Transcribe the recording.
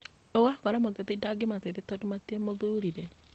Ũgakora mũteti ndangĩmateithia tondũ matiamũthurire